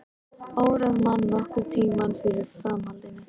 Órar mann nokkurn tímann fyrir framhaldinu.